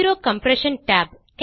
zero compression tab